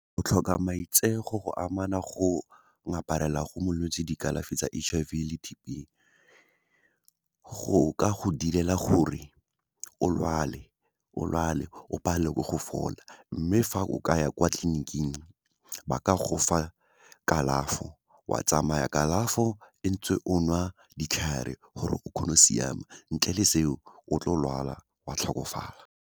O tlhoka maitseo, go amana go ngaparela go molwetse dikalafi tsa H_I_V le T_B, go ka go direla gore o lwale, o palelwe ke go fola. Mme, fa o ka ya kwa tleliniking, ba ka go fa kalafo wa tsamaya kalafo ntse o nwa ditlhare, gore o kgone go siama, ntle le seo, o tlo lwala, wa tlhokofala.